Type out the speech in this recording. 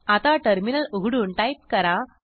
आता टर्मिनल उघडून टाईप करा